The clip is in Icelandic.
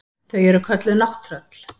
Þau eru kölluð nátttröll.